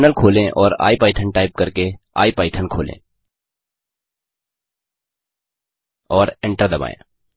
terminal खोलें और IPython type करके आई पाईथन खोलें और एंटर दबाएँ